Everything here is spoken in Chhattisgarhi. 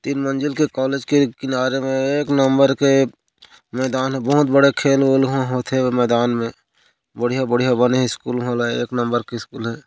तीन मंजिल के कॉलेज के किनारे में एक नम्बर के मैदान बहुत बड़े खेल उल उहा होथे ओ मैदान में बढ़िया बढ़िया बने स्कूल एक नम्बर हे।